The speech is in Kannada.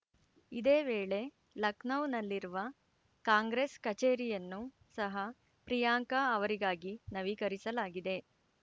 ಇದೇ ವೇಳೆ ಲಖನೌದಲ್ಲಿರುವ ಕಾಂಗ್ರೆಸ್‌ ಕಚೇರಿಯನ್ನು ಸಹ ಪ್ರಿಯಾಂಕಾ ಅವರಿಗಾಗಿ ನವೀಕರಿಸಲಾಗಿದೆ